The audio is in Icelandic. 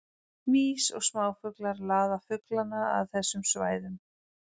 Mýs og smáfuglar laða fuglana að að þessum svæðum.